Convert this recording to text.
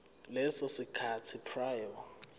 leso sikhathi prior